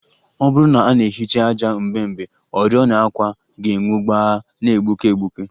Ọ bụrụ na a na-ehicha ájá mgbe mgbe, oriọna àkwà ga-enwu gbaa na-egbuke egbuke